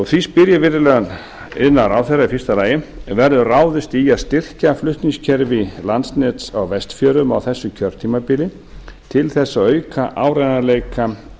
því spyr ég virðulegan iðnaðarráðherra í fyrsta lagi verður ráðist í að styrkja flutningskerfi landsnets á vestfjörðum á þessu kjörtímabili til þess að auka áreiðanleika